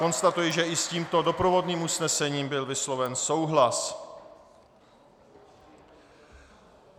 Konstatuji, že i s tímto doprovodným usnesením byl vysloven souhlas.